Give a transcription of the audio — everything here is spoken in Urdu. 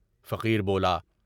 فقیر بولا۔